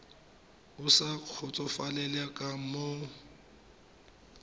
o sa kgotsofalela ka moo